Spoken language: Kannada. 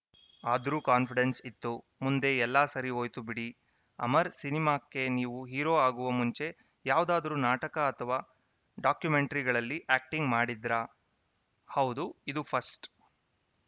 ಆದ್ರೂ ಕಾನ್ಪಿಡೆನ್ಸ್‌ ಇತ್ತು ಮುಂದೆ ಎಲ್ಲಾ ಸರಿ ಹೋಯ್ತು ಬಿಡಿ ಅಮರ್‌ ಸಿನಿಮಾಕ್ಕೆ ನೀವು ಹೀರೋ ಆಗುವ ಮುಂಚೆ ಯಾವ್ದಾದ್ರೂ ನಾಟಕ ಅಥವಾ ಡಾಕ್ಯುಮೆಂಟ್ರಿಗಳಲ್ಲಿ ಆ್ಯಕ್ಟಿಂಗ್‌ ಮಾಡಿದ್ರಾ ಹೌದು ಇದು ಫಸ್ಟ್‌